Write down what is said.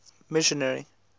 missionary